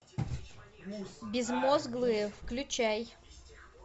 безмозглые включай